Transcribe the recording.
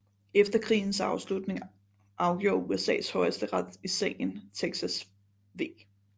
Efter krigens afslutning afgjorde USAs Højesteret i sagen Texas v